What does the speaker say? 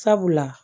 Sabula